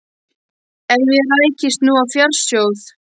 Ef ég rækist nú á fjársjóð.